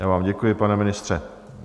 Já vám děkuji, pane ministře.